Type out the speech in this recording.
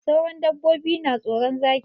Sauran dabbobi na tsoron Zaki.